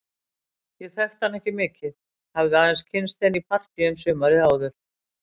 Ég þekkti hana ekki mikið, hafði aðeins kynnst henni í partíum sumarið áður.